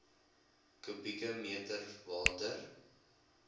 kubieke meter water